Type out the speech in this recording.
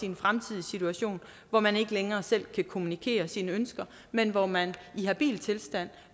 en fremtidig situation hvor man ikke længere selv kan kommunikere sine ønsker men hvor man i habil tilstand